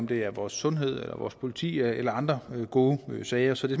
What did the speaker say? det er vores sundhed eller vores politi eller andre gode sager så det